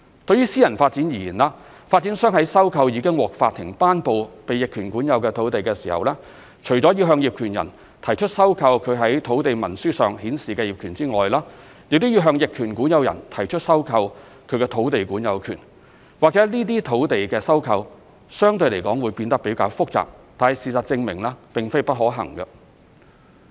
對於私人發展而言，發展商在收購已獲法庭頒布被逆權管有的土地時，除了要向業權人提出收購其在土地文書上顯示的業權外，亦要向逆權管有人提出收購他的土地管有權，或許這類土地收購相對來說會變得較為複雜，但事實證明並非不可行。